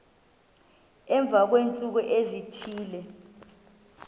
emva kweentsuku ezithile